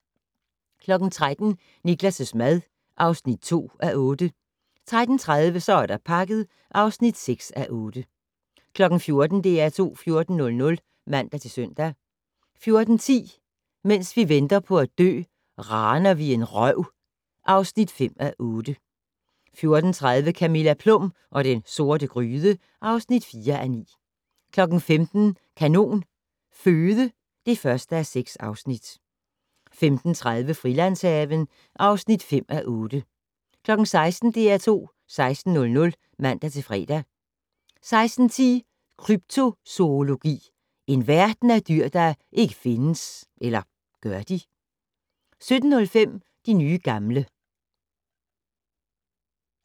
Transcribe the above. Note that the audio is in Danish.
13:00: Niklas' mad (2:8) 13:30: Så er der pakket (6:8) 14:00: DR2 14:00 (man-søn) 14:10: Mens vi venter på at dø - Raner vi en røv (5:8) 14:30: Camilla Plum og den sorte gryde (4:9) 15:00: Kanon Føde (1:6) 15:30: Frilandshaven (5:8) 16:00: DR2 16:00 (man-fre) 16:10: Kryptozoologi - en verden af dyr der ikke findes. Eller gør de? 17:05: De nye gamle